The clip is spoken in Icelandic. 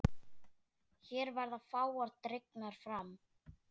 Hér verða fáar dregnar fram.